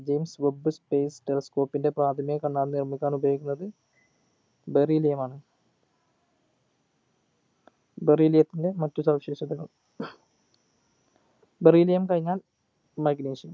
James webb space telescope ൻ്റെ പ്രാഥമിക കണ്ണാടി നിർമിക്കാൻ ഉപോയോഗിക്കുന്നത് beryllium മാണ് beryllium ത്തിന്റെ മറ്റു സവിശേഷതകൾ beryllium കഴിഞ്ഞാൽ magnesium